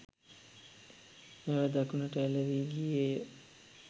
නැව දකුණට ඇලැවී ගියේය.